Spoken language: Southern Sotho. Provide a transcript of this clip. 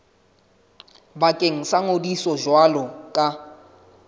bakeng sa ngodiso jwalo ka